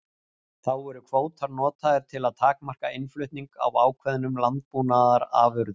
Þá eru kvótar notaðir til að takmarka innflutning á ákveðnum landbúnaðarafurðum.